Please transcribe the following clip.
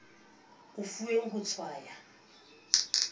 o e fuweng ho tshwaya